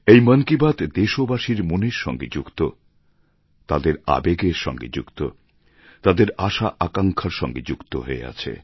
এই মন কি বাত দেশবাসীর মনের সঙ্গে যুক্ত তাদের আবেগের সঙ্গে যুক্ত তাদের আশা আকাঙ্ক্ষার সঙ্গে যুক্ত হয়ে আছে